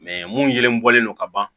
mun yelen bɔlen don ka ban